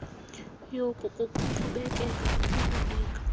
yoku kukuqhubekeka nokukunika